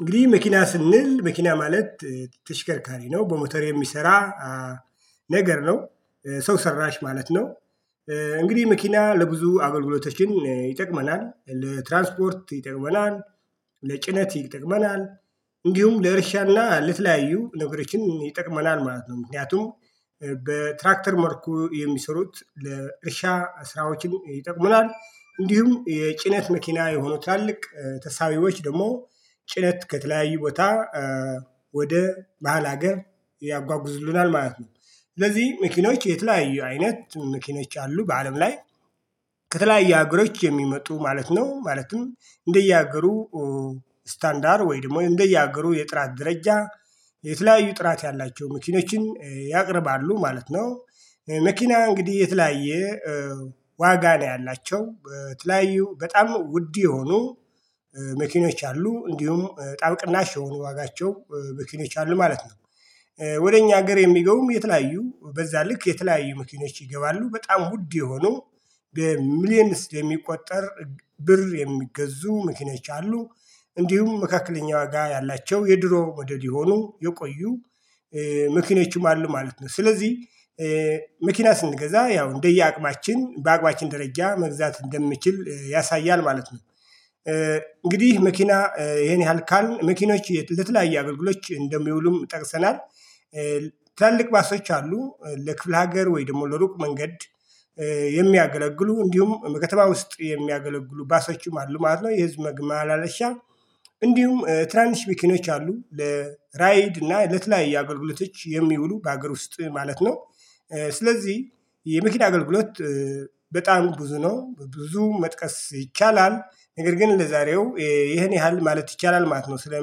እንግዲህ መኪና ስንል መኪና ማለት ተሽከርካሪ ነው በሞተር የሚሰራ ነገር ነው ሰው ሰራሽ ማለት ነው። እንግዲህ መኪና ለብዙ አገልግሎቶችን ይጠቅመናል ለትራንስፖርት ይጠቅመናል ለጭነት ይጠቅመናል እንዲሁም ለእርሻ እና ለተለያዩ ነገሮችን ይጠቅመናል ማለት ነው። ምክንያቱም በትራክተር መርኩ የሚሰሩት ለእርሻ ስራዎችን ይጠቅሙናል እንዲሁም የጭነት መኪና የሆኑ ትላልቅ ተሳቢዎች ደግሞ ጭነት ከተለያዩ ቦታ ወደ ባህል ሀገር ያጓጉዙልናል ማለት ነው። ስለዚህ መኪኖች የተለያዩ አይነት መኪኖች አሉ በአለም ላይ ከተለያዩ አገሮች የሚመጡ ማለት ነው። ማለትም እንደየአገሩ ስታንዳር ወይ ደግሞ እንደየአገሩ የጥራት ደረጃ የተለያዩ ጥራት ያላቸው መኪኖችን ያቀርባሉ ማለት ነው። መኪና እንግዲህ የተለያየ ዋጋ ነው ያላቸው በተለያዩ በጣም ውድ የሆኑ መኪኖች አሉ እንዲሁም በጣም ቅናሽ የሆኑ ዋጋቸው መኪኖች አሉ ማለት ነው። ወደ እኛ ሀገር የሚገቡም የተለያዩ በዛ ልክ የተለያዩ መኪኖች ይገባሉ በጣም ውድ የሆኑ በሚሊየንስድ የሚቆጠር ብር የሚገዙ መኪኖች አሉ። እንዲሁም መካከለኛ ዋጋ ያላቸው የድሮ ሞዴል የሆኑ የቆዩ መኪኖችም አሉ ማለት ነው። ስለዚህ መኪና ስንገዛ ያው እንደየአቅማችን በአቅማችን ደረጃ መግዛት እንደምችል ያሳያል ማለት ነው። እንግዲህ መኪና ይሄን ያህል ካልን መኪኖች የት ለተለያየ አብልግሎች እንደሚውሉም ጠቅሰናል። ትላልቅ ባሶች አሉ ለክፍለ ሀገር ወይ ደግሞ ለሩቅ መንገድ የሚያገለግሉ እንዲሁም በከተማ ውስጥ የሚያገለግሉ ባሶችም አሉ ማለት ነው። የህዝብ መግማላለሻ እንዲሁም ትናንሽ መኪኖች አሉ ለራይድ እና ለተለያዩ አገልግሎቶች የሚውሉ በሀገር ውስጥ ማለት ነው። ስለዚህ የመኪና አገልግሎት በጣም ብዙ ነው በብዙ መጥቀስ ይቻላል። ነገር ግን ለዛሬው ይሄ ይሄን ያህል ማለት ይቻላል ማለት ነው። ስለ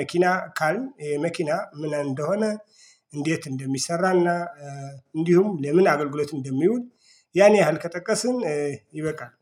መኪና ካልን መኪና ምን እንደሆነ? እንዴት እንደሚሰራ እና እንዲሁም ለምን አገልግሎት እንደሚውል? ያን ያህል ከጠቀስን ይበቃል።